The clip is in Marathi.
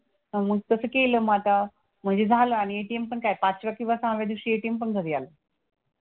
मग तसं केलं मग आता. म्हणजे झालं आणि ATM पण काय पाचव्या किंवा सहाव्या दिवशी ATM पण घरी आलं.